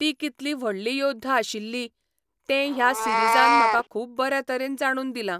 ती कितली व्हडली योद्धा आशिल्ली, तें ह्या सिरिजान म्हाका खूब बऱ्या तरेन जाणून दिला.